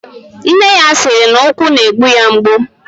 Nne ya siri na ukwu na egbu ya egbu.